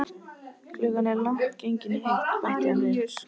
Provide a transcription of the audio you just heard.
Klukkan er líka langt gengin í eitt, bætti hann við.